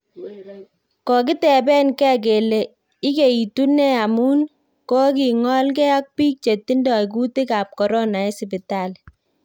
Kokiteben gee kele ikeitun nee amun kokingol gee ak biik che tindoi kutik ab corona en sipitali